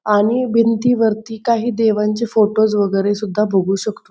आणि भिंती वरती काही देवांचे फोटोज वगैरा सुद्धा बघू शकतो.